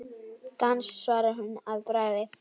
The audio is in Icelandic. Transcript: Dans svarar hún að bragði.